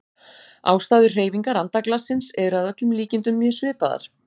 Ástæður hreyfingar andaglassins eru að öllum líkindum mjög svipaðar.